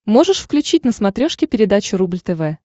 можешь включить на смотрешке передачу рубль тв